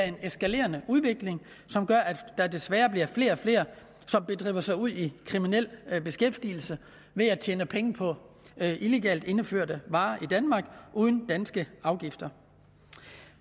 en eskalerende udvikling som gør at der desværre kun bliver flere og flere som begiver sig ud i kriminel beskæftigelse ved at tjene penge på illegalt indførte varer uden danske afgifter